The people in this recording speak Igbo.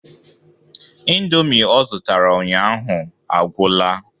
Indomie o zụtara ụnyaahụ agwụla.